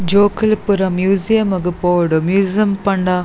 ಜೋಕುಲು ಪೂರ ಮ್ಯೂಸಿಯಮ್ ಗು ಪೋವೊಡು ಮ್ಯೂಸಿಯಮ್ ಪಂಡ.